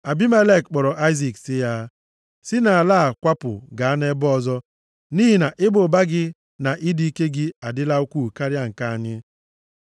Abimelek kpọrọ Aịzik sị ya, “Si nʼala a kwapụ gaa nʼebe ọzọ, nʼihi na ịba ụba gị na ịdị ike gị adịla ukwuu karịa nke anyị.”